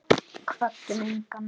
Kvöddum engan.